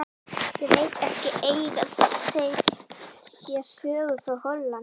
Ég veit ekki, eiga þeir sér sögu frá Hollandi?